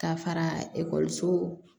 Ka fara ekɔliso